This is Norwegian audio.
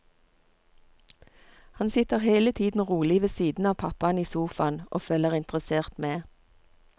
Han sitter hele tiden rolig ved siden av pappaen i sofaen og følger interessert med.